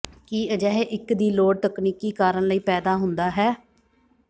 ਕੀ ਅਜਿਹੇ ਇੱਕ ਦੀ ਲੋੜ ਤਕਨੀਕੀ ਕਾਰਨ ਲਈ ਪੈਦਾ ਹੁੰਦਾ ਹੈ